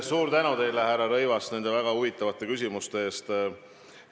Suur tänu teile, härra Rõivas, nende väga huvitavate küsimuste eest!